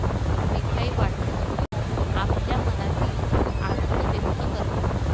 मिठाई वाटतात आपल्या मनातील आनंद व्यक्त करतात.